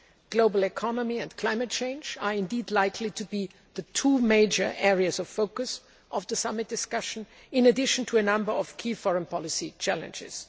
The global economy and climate change are likely to be the two major areas of focus of the summit discussion, in addition to a number of key foreign policy challenges.